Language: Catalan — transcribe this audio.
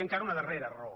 i encara una darrera raó